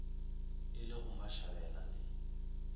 e le go mashabela le